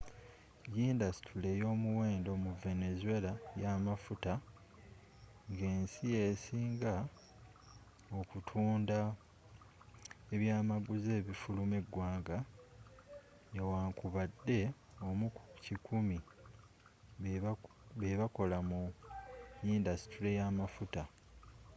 yindasitule eyomuwendo mu venezuela ya mafuta ngensi yesinga okutunda ebyamaguzi ebifuluma eggwanga newankubadde omu ku kikumi bebakola mu yindasitule yamafuta